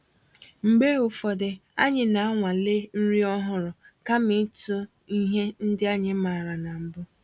Mgbe ụfọdụ, anyị na-anwale nri ọhụrụ kama ịtụ ihe ndị anyị maara na mbụ